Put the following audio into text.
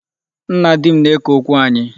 Nna di m na-eke okwu anyị.